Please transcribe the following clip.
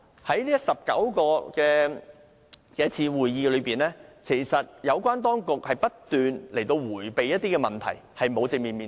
在19次會議中，有關當局不斷迴避一些問題，並無正面面對。